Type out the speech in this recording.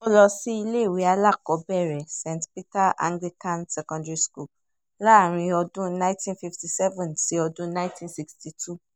ó lọ síléèwé alákọ̀ọ́bẹ̀rẹ̀ saint peters anglican secondary school láàrin ọdún ninety fifty seven sí ọdún ninety sixty two